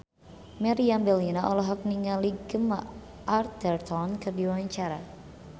Meriam Bellina olohok ningali Gemma Arterton keur diwawancara